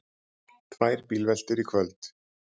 Tvær bílveltur í kvöld